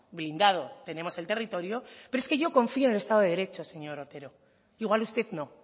blindado tenemos el territorio pero es que yo confió en el estado de derecho señor otero igual usted no